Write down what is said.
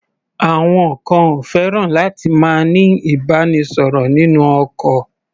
Àwọn kan ò fẹ́ràn láti máa ní ìbánisọ̀rọ̀ nínú ọkọ̀.